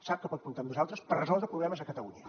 sap que pot comptar amb nosaltres per resoldre problemes a catalunya